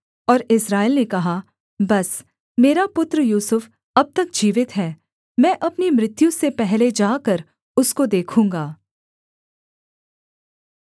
और इस्राएल ने कहा बस मेरा पुत्र यूसुफ अब तक जीवित है मैं अपनी मृत्यु से पहले जाकर उसको देखूँगा